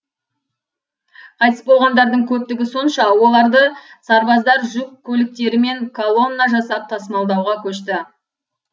қайтыс болғандардың көптігі сонша оларды сарбаздар жүк көліктерімен колонна жасап тасымалдауға көшті